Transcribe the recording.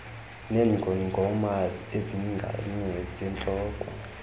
neengongoma ezinganye zentloko